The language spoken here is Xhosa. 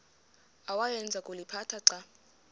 awayeza kuliphatha xa